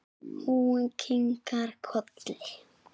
Hún kinkar kolli.